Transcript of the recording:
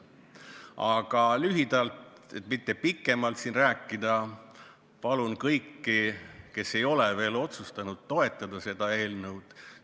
Aga lühidalt, et mitte pikemalt rääkida, palun kõiki, kes ei ole veel otsustanud, seda eelnõu toetada.